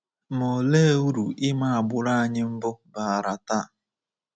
Ma olee uru ịma agbụrụ anyi mbụ baara taa?'